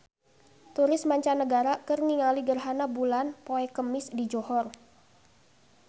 Turis mancanagara keur ningali gerhana bulan poe Kemis di Johor